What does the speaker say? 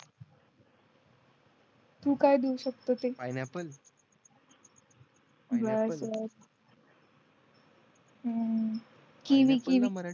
तु काय देऊ शकतो ते पिनिअप्पल बर बर हम्म किवी